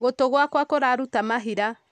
Gũtũ gwakwa kũraruta mahira